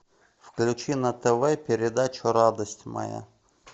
включи на тв передачу радость моя